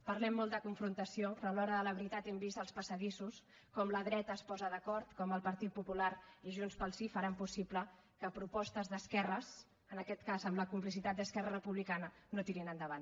parlem molt de confrontació però a l’hora de la veritat hem vist als passadissos com la dreta es posa d’acord com el partit popular i junts pel sí faran possible que propostes d’esquerres en aquest cas amb la complicitat d’esquerra republicana no tirin endavant